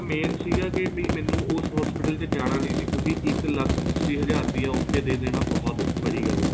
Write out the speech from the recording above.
main ਸੀਗਾ ਮੈਨੂੰ ਉਸ hospital ਚ ਜਾਣਾ ਵੀ ਨਹੀਂ ਸੀ ਕਿਉਂਕਿ ਇੱਕ ਲੱਖ ਅੱਸੀ ਹਜ਼ਾਰ ਰੁਪੇ ਉੱਥੇ ਦੇ ਦੇਣਾ ਬਹੁਤ ਬੜੀ ਗੱਲ ਹੈ